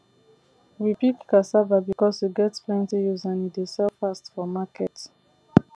we pick cassava because e get plenty use and e dey sell fast for market